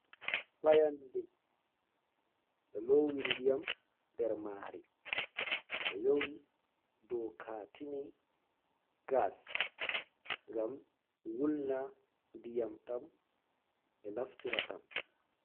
Fayande ɓe lowi ndiyam nder mari. Ɓe yewi dow katini gas, ngam wulna ndiyam ɗam ɓe naftira ɗam.